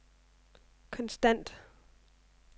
konstant